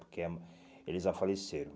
Porque ah eles já faleceram.